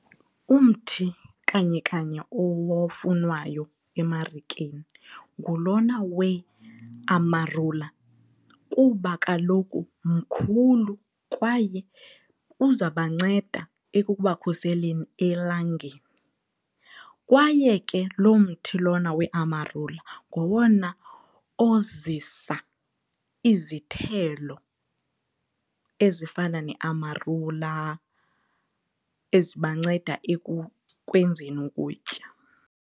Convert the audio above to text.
Umthi kanye kanye ofunwayo emarikeni ngulona weAmarula kuba kaloku mkhulu kwaye uzabanceda ekubakhuseleni elangeni kwaye ke lo mthi lona weAmarula ngowona ozisa izithelo ezifana neAmarula ezibanceda ekukwenzeni ukutya.